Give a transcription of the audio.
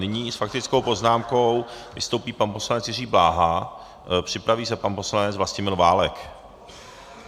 Nyní s faktickou poznámkou vystoupí pan poslanec Jiří Bláha, připraví se pan poslanec Vlastimil Válek.